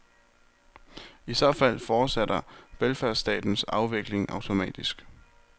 I så fald fortsætter velfærdsstatens afvikling automatisk.